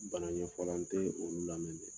Bana ɲɛfɔ la , n tɛ olu lamɛn de.